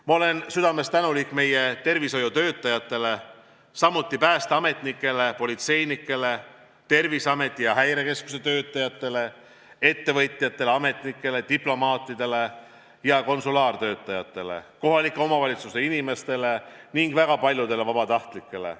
Ma olen südamest tänulik meie tervishoiutöötajatele, samuti päästeametnikele, politseinikele, Terviseameti ja Häirekeskuse töötajatele, ettevõtjatele, ametnikele, diplomaatidele ja konsulaartöötajatele, kohalike omavalitsuste inimestele ning väga paljudele vabatahtlikele.